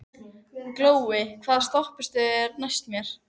Glói, hvaða stoppistöð er næst mér?